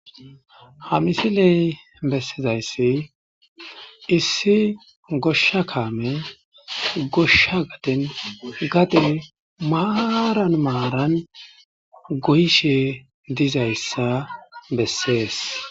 Ha misiley bessizayssi issi goshsha kaame goshsha gaden gade maaran maaran goyishe dizayssa bessees.